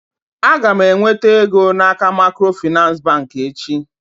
Aga m enweta ego n'aka macro Finance bank echi.